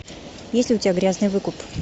есть ли у тебя грязный выкуп